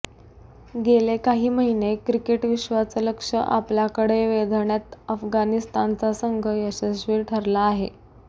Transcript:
गेले काही महिने क्रिकेटविश्वाचं लक्ष आपल्याकडे वेधण्यात अफगाणिस्तानचा संघ यशस्वी ठरला आहे